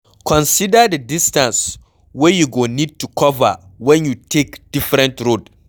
Consider di distance wey you go need to cover when you take different road